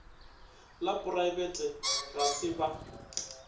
la poraebete ga se ba